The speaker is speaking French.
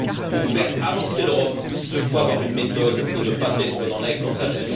Pour faire avancer l'Europe, il faut avoir une méthode et ne pas être dans l'incantation.